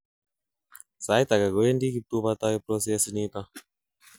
sait agei, kowendi kibtubatai processiniton